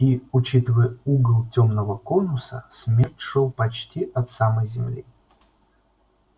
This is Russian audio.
и учитывая угол тёмного конуса смерч шёл почти от самой земли